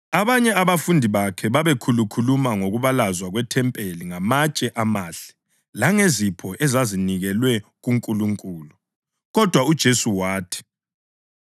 Abanye abafundi bakhe babekhulukhuluma ngokubalazwa kwethempeli ngamatshe amahle langezipho ezazinikelwe kuNkulunkulu. Kodwa uJesu wathi,